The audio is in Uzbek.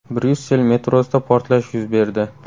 Bryussel metrosida portlash yuz berdi.